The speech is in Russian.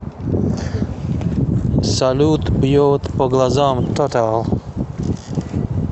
салют бьет по глазам тотал